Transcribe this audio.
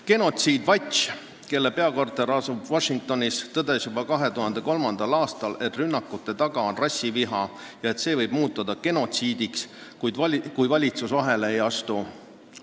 Genocide Watch, mille peakorter asub Washingtonis, tõdes juba 2003. aastal, et rünnakute taga on rassiviha ja et see võib muutuda genotsiidiks, kui valitsus vahele ei astu.